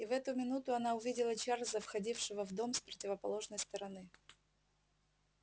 и в эту минуту она увидела чарлза входившего в дом с противоположной стороны